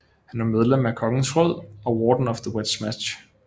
Han var medlem af kongens råd og Warden of the West March